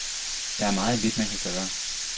Der er meget lidt, man kan gøre.